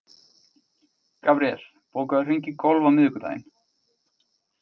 Gabríel, bókaðu hring í golf á miðvikudaginn.